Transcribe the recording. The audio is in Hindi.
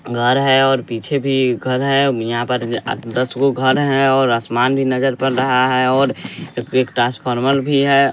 घर है और पीछे भी घर है यहां पर दस गो घर हैं और आसमान भी नजर पर रहा है और एक ट्रांसफार्मर भी है।